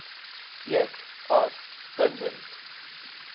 eed as bindend